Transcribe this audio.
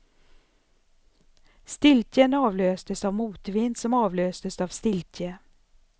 Stiltjen avlöstes av motvind, som avlöstes av stiltje.